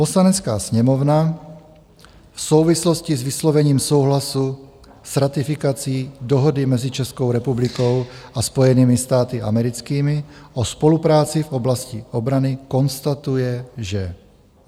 "Poslanecká sněmovna v souvislosti s vyslovením souhlasu s ratifikací Dohody mezi Českou republikou a Spojenými státy americkými o spolupráci v oblasti obrany konstatuje, že